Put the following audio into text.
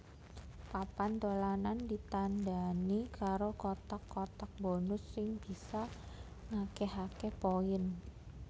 Papan dolanan ditandani karo kotak kotak bonus sing bisa ngakehake poin